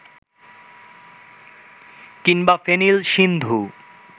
কিংবা ফেনিল সিন্ধু